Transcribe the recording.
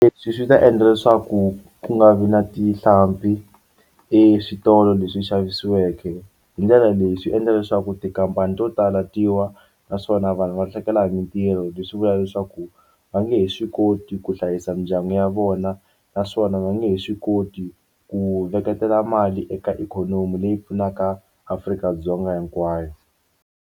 Leswi swi ta endla leswaku ku nga vi na tihlampfi eswitolo leswi xaviweke hindlela leyi swi endla leswaku tikhampani to tala ti wa naswona vanhu va lahlekela hi mintirho leswi vula leswaku va nge he swi koti ku hlayisa mindyangu ya vona naswona va nge he swi koti ku veketela mali eka ikhonomi leyi pfunaka Afrika-Dzonga hikwayo.